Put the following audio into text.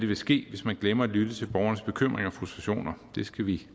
vil ske hvis man glemmer at lytte til borgernes bekymringer og frustrationer det skal vi